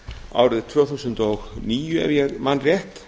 árið tvö þúsund og níu ef ég man rétt